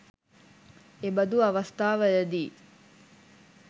එබඳු අවස්ථාවලදී